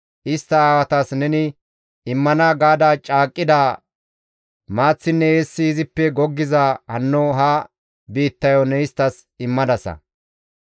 Istta aawatas neni immana gaada caaqqida maaththinne eessi izippe goggiza hanno ha biittayo ne isttas immadasa.